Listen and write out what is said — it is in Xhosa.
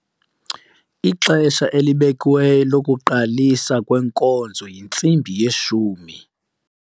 Ixesha elibekiweyo lokuqaliswa kwenkonzo yintsimbi yeshumi.